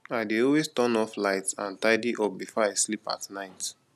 i dey always turn off lights and tidy up before i sleep at night